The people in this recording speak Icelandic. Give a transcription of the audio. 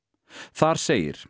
þar segir